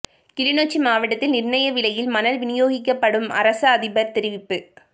கிளிநொச்சி மாவட்டத்தில் நிர்ணய விலையில் மணல் விநியோகிக்கப்படும் அரச அதிபர் தெரிவிப்பு